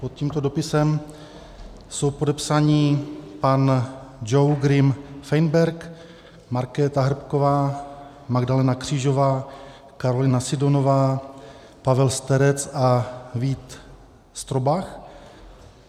Pod tímto dopisem jsou podepsáni pan Joe Grim Feinberg, Markéta Hrbková, Magdalena Křížová, Carolina Sidonová, Pavel Sterec a Vít Strobach.